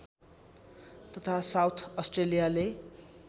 तथा साउथ अस्ट्रेलियाले